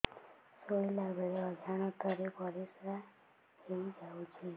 ଶୋଇଲା ବେଳେ ଅଜାଣତ ରେ ପରିସ୍ରା ହେଇଯାଉଛି